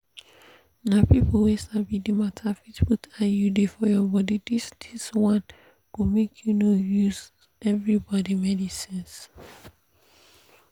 na people wey sabi the matter fit put iud for your body this this one go make you no use everyday medicines.